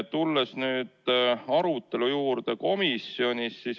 Tulen nüüd komisjonis toimunud arutelu juurde.